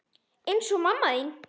Eins og mamma þín.